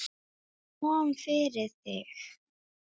Hvað kom fyrir þig?